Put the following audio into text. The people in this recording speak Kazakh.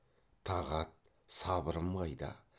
тағат сабырым қайда